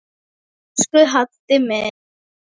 Elsku Haddi minn.